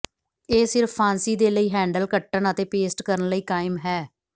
ਇਹ ਸਿਰਫ ਫਾਂਸੀ ਦੇ ਲਈ ਹੈਂਡਲ ਕੱਟਣ ਅਤੇ ਪੇਸਟ ਕਰਨ ਲਈ ਕਾਇਮ ਹੈ